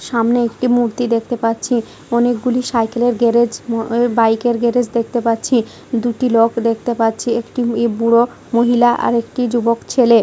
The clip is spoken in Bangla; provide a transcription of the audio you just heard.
সামনে একটি মূর্তি দেখতে পাচ্ছি। অনেকগুলি সাইকেলের গ্যারেজ ম বাইকের গ্যারেজ দেখতে পাচ্ছি। দুটি লোক দেখতে পাচ্ছি। একটি ই বুড়ো মহিলা আরেকটি যুবক ছেলে।